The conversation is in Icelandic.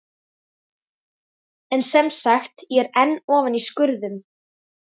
En semsagt: ég er enn ofan í skurðum.